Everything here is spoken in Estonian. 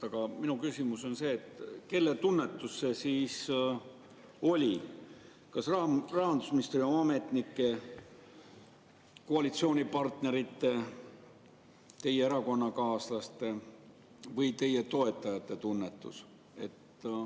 Aga minu küsimus on see, et kelle tunnetus see siis oli, kas Rahandusministeeriumi ametnike, koalitsioonipartnerite, teie erakonnakaaslaste või teie toetajate tunnetus.